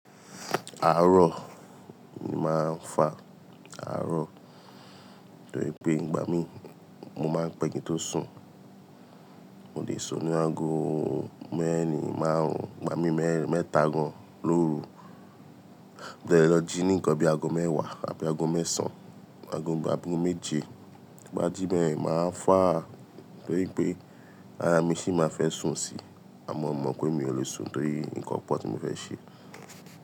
Arọ ni màá ń fa, arọ torí pé ìgbà mí mo máa ń pẹ̀ kí ǹ tó sùn. Mo lè sùn ní aago mẹ́rin márùn-ún, ìgbà mí mẹ́ta gan lóru, bí mo bá lọ jí ní nǹkan bí i aago mẹ́wàá abí aago mẹ́sàn án, aago abí aago méje, tí mo bá jí bẹ́ẹ̀, màá ń fa torí pé ara mi sì máa fẹ́ sùn sí, àmọ́ mo mọ̀ pé mi ò lè sùn torí nǹkan pọ̀ tí mo fẹ́ ṣe.